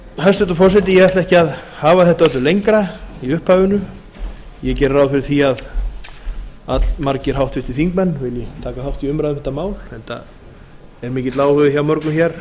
hæstvirtur forseti ég ætla ekki að hafa þetta öllu lengra í upphafinu ég geri ráð fyrir því að allmargir háttvirtir þingmenn vilji taka þátt í umræðu um þetta mál enda er mikill áhugi hjá mörgum hér